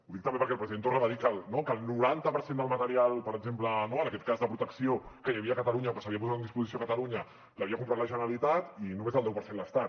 ho dic també perquè el president torra va dir que el noranta per cent del material per exemple en aquest cas de protecció que hi havia a catalunya o que s’havia posat a disposició a catalunya l’havia comprat la generalitat i només el deu per cent l’estat